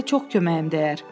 sizə çox köməyim dəyər.